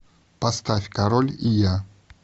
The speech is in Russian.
поставь король и я